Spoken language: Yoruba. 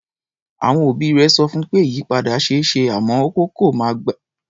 Àwọn òbí rẹ̀ sọ fún pé ìyípadà ṣe é ṣe àmọ́ ó kọ̀ máa gba ọ̀pọ̀lọpọ̀ àkókò àti iṣẹ́.